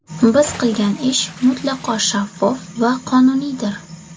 Biz qilgan ish mutlaqo shaffof va qonuniydir.